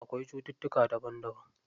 Akwai cututtuka daban daban.